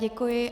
Děkuji.